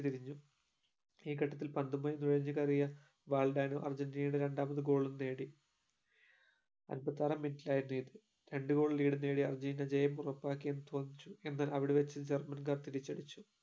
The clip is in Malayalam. ഇയിരുന്നു ഈ ഘട്ടത്തിൽ പന്തുമായി നുഴഞ്ഞു കേറിയ വാൽഡേണോ അർജന്റീന രണ്ടാമതും goal ഉം നേടി അമ്പത്താറാം minute ൽ ആയിരുന്നു ഇത് രണ്ടു goal lead നേടിയ അർജന്റീന ജയം ഉറപ്പാക്കിയ തോന്നിചു എന്നാൽ ജർമൻകാർ തിരിച്ചടിച്ചു